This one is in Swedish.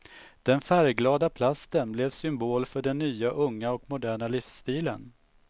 Den färgglada plasten blev symbol för den nya unga och moderna livsstilen.